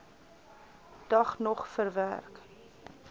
dag nog verwerk